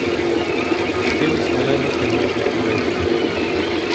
Našteli smo le nekaj možnosti za izlet.